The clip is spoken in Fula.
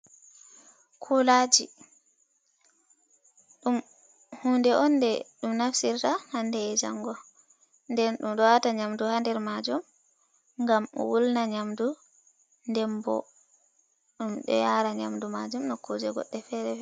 Kulaji dum hunde onde dum naftirta hande e jango, nden dum do wata nyamdu hader majum gam o wulna nyamdu nden bo dum do yara nyamdu majum no kuje godde fere-fere.